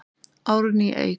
Árný Eik.